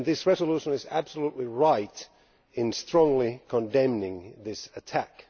This resolution is absolutely right in strongly condemning this attack.